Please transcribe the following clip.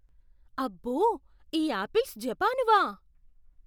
అబ్బో! ఈ యాపిల్స్ జపానువా?